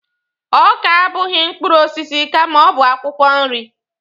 Ọka abụghị mkpụrụ osisi kama ọ bụ akwụkwọ nri.